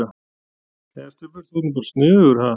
Jæja, Stubbur. þú ert bara sniðugur, ha!